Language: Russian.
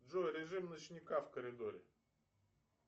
джой режим ночника в коридоре